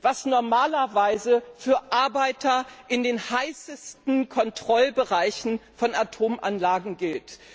was normalerweise für Arbeiter in den am stärksten belasteten Kontrollbereichen von Atomanlagen gilt.